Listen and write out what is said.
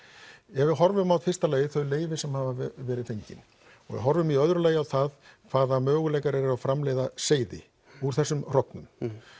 ef við horfum á í fyrsta lagi þau leyfi sem hafa verið fengin og við horfum í öðru lagi á það hvaða möguleikar eru á að framleiða seyði úr þessum hrognum